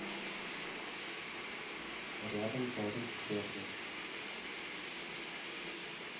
рядом торис сервис